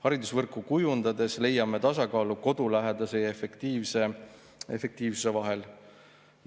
Haridusvõrku kujundades leiame tasakaalu koduläheduse ja efektiivsuse vahel.